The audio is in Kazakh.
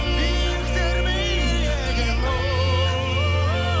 биіктер биік екен ооо